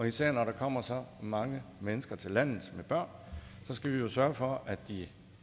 især når der kommer så mange mennesker til landet med børn skal vi jo sørge for at de